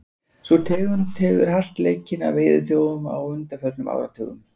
Sú tegund hefur verið hart leikinn af veiðiþjófum á undanförnum áratugum.